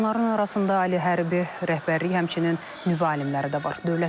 Onların arasında ali hərbi rəhbərlik, həmçinin nüvə alimləri də var.